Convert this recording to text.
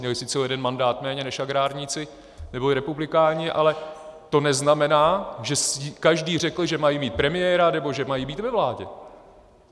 Měli sice o jeden mandát méně než agrárníci neboli republikáni, ale to neznamená, že každý řekl, že mají mít premiéra nebo že mají být ve vládě.